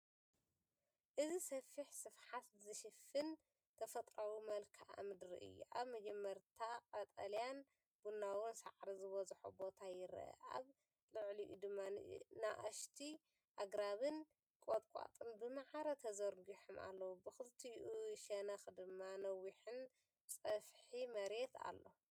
እዚ ሰፊሕ ስፍሓት ዝሽፍን ተፈጥሮኣዊ መልክዓ ምድሪ እዩ። ኣብ መጀመርታ ቀጠልያን ቡናውን ሳዕሪ ዝበዝሖ ቦታ ይርአ፣ ኣብ ልዕሊኡ ድማ ንኣሽቱ ኣግራብን ቁጥቋጥን ብማዕረ ተዘርጊሖም ኣለዉ። ብኽልቲኡ ሸነኽ ድማ ነዊሕን ጸፍሒ መሬት ኣሎ።